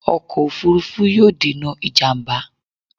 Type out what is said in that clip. Ọkọ̀ òfuurufú yóò dènà ìjàmbá